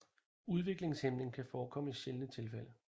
Udviklingshæmning kan forekomme i sjældne tilfælde